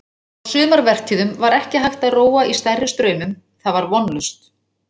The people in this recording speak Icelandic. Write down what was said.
Á sumarvertíðum var ekki hægt að róa í stærri straumum, það var vonlaust.